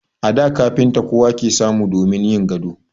A da kafinta kowa ke samu damin yin gado.